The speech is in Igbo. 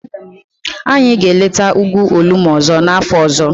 Anyị ga-eleta ugwu Olumo ọzọ n'afọ ọzọ.